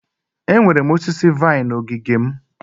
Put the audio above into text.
Enwere m osisi vine na ogige m.